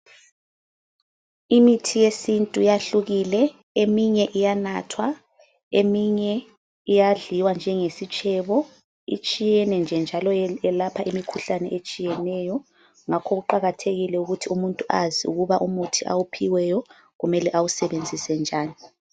Imithi yesintu yahlukile eminye iyanathwa eminye iyadliwa njengesitshebo, itshiyene nje njalo iyelapha imikhuhlane etshiyeneyo ngakho kuqakathekile ukuthi umuntu azi ukuthi awuphiweyo kumele awusebenzise njani.